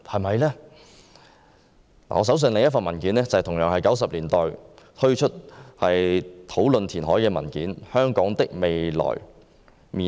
我手上另一份文件同樣是在1990年代發表有關填海的討論文件，題為"香港的未來面貌"。